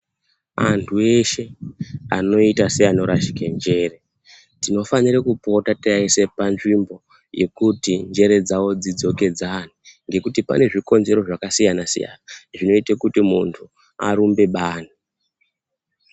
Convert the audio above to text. Antu eshe anoita se ano rasheke njere tino fanire kupota teyi aise pa nzvimbo yekuti njere dzavo dzidzokedzane ngekuti pane zvikonzero zvaka siyana siyana zvinoite kuti muntu arumbe bani.